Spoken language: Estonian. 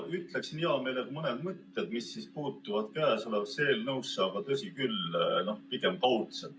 Ma ütleksin hea meelega mõned mõtted, mis puudutavad käesolevat eelnõu tõsi küll, pigem kaudselt.